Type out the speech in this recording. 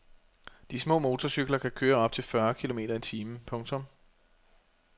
De små motorcykler kan køre op til fyrre kilometer i timen. punktum